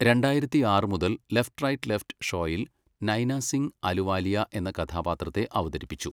രണ്ടായിരത്തിയാറ് മുതൽ 'left right left' ഷോയിൽ നൈന സിംഗ് അലുവാലിയ എന്ന കഥാപാത്രത്തെ അവതരിപ്പിച്ചു.